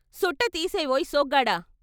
"సుట్ట తీసేవోయ్ సోగ్గాడ....